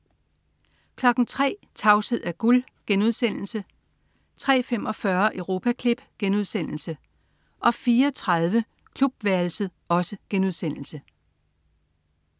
03.00 Tavshed er gud* 03.45 Europaklip* 04.30 Klubværelset*